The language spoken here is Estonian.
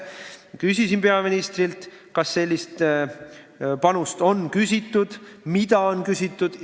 Ma küsisin peaministrilt, kas sellist panust on küsitud ja mida on küsitud.